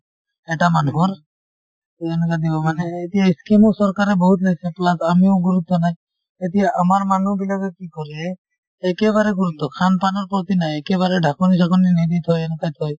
এটা মানুহৰ এই এনেকুৱা দিব মানে এ এতিয়া ই scheme ও চৰকাৰে বহুত লৈছে plus আমিও গুৰুত্ব নাই এতিয়া আমাৰ মানুহবিলাকে কি কৰে একেবাৰে গুৰুত্ৱ khan pan ৰ প্ৰতি নাই একেবাৰে ঢাকনি-চাকনি নিদি থৈ এনেকুৱা থৈ